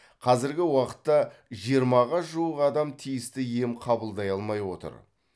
қазіргі уақытта жиырмаға жуық адам тиісті ем қабылдай алмай отыр